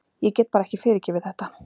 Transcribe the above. Ég get bara ekki fyrirgefið þetta.